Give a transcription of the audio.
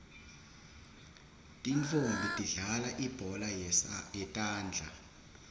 tintfonmbi tidlalal ibhola yetandla